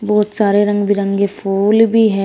बहोत सारे रंग बिरंगे फूल भी है।